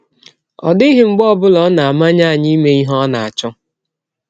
Ọ dịghị mgbe ọ bụla ọ na - amanye anyị ime ihe ọ na - achọ.